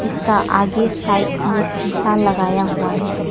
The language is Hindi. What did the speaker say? इसका आगे साइड में शीशा लगाया हुआ है।